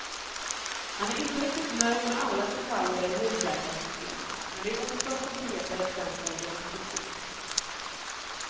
Han är inte riktigt nöjd med alla detaljer i husläkarsystemet, men det är ont om konkreta exempel i hans kritik.